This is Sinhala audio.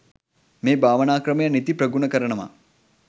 මේ භාවනා ක්‍රමය නිති ප්‍රගුණ කරනවා.